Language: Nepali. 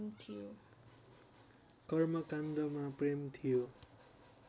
कर्मकाण्डमा प्रेम थियो